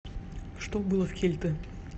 что было в кельты